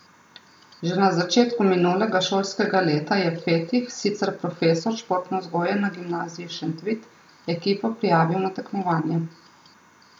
Že na začetku minulega šolskega leta je Fetih, sicer profesor športne vzgoje na Gimnaziji Šentvid, ekipo prijavil na tekmovanje.